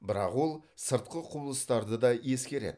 бірақ ол сыртқы құбылыстарды да ескереді